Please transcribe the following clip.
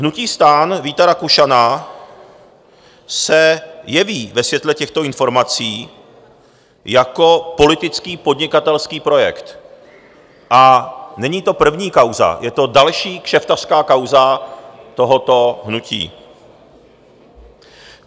Hnutí STAN Víta Rakušana se jeví ve světle těchto informací jako politický podnikatelský projekt, a není to první kauza, je to další kšeftařská kauza tohoto hnutí.